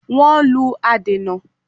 Wọ́n lù adènà